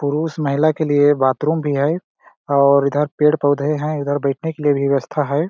पुरुष महिला के लिए बाथरूम भी है और इधर पेड़- पौधे है इधर बैठने के लिए व्यवस्था हैं ।